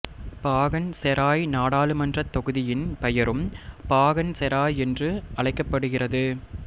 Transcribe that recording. பாகன் Serai நாடாளுமன்றத் தொகுதியின் பெயரும் பாகன் செராய் என்று அழைக்கப் படுகிறது